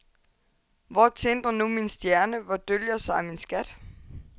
Hvor tindrer nu min stjerne, hvor dølger sig min skat?